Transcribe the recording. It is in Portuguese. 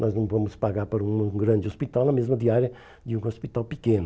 Nós não vamos pagar para um grande hospital na mesma diária de um hospital pequeno.